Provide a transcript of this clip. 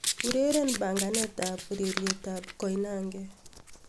ureren panganet ab ureryet ab koinange